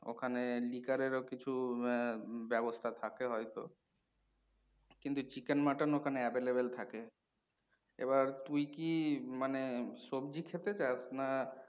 ওখানে liqour এর ও কিছু আহ বাবস্থা থাকে হয়তো কিন্তু chicken, mutton ওখানে available থাকে। এবার তুই কি মানে সবজি খেতে চাস না